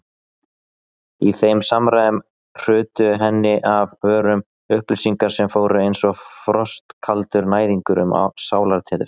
Í þeim samræðum hrutu henni af vörum upplýsingar sem fóru einsog frostkaldur næðingur um sálartetrið.